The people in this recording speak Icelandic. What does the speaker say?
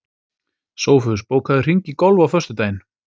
Sófus, bókaðu hring í golf á föstudaginn.